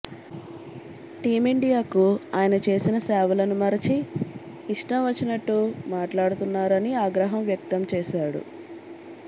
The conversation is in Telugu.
టీమిండియాకు ఆయన చేసిన సేవలను మరచి ఇష్టం వచ్చినట్టు మాట్లాడుతున్నారని ఆగ్రహం వ్యక్తం చేశాడు